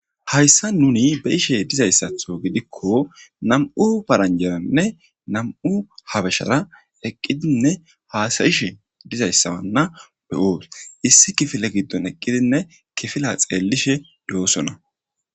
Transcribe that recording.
Hayssan nuni be'ishe de'izaysatho gidiko nam'u paranjaranne nam'u habashara eqqidnne hasa'ishe dizayssane be'os issi kifilen eqqidi kifiliya tselishe de'ossona.